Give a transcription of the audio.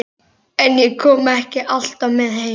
En ég kom ekki alltaf með heim.